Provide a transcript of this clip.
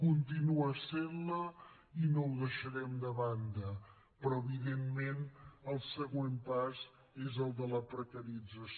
continua essent la i no ho deixarem de banda però evidentment el següent pas és el de la precarització